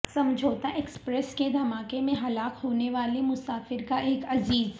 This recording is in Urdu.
سمجھوتہ ایکسپریس کے دھماکے میں ہلاک ہونے والے مسافر کا ایک عزیز